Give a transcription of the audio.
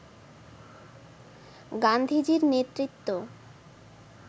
গান্ধীজির নেতৃত্ব